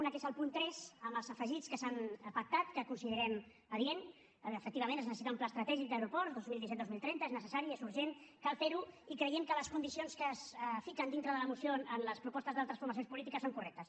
una que és el punt tres amb els afegits que s’han pactat que considerem adient efectivament es necessita un pla estratègic d’aeroport dos mil disset dos mil trenta és necessari és urgent cal fer ho i creiem que les condicions que es fiquen dintre de la moció en les propostes d’altres formacions polítiques són correctes